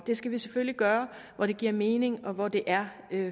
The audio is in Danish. det skal vi selvfølgelig gøre hvor det giver mening og hvor det er